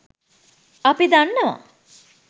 අපි දන්නවා.